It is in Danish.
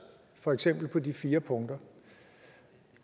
for eksempel på de fire punkter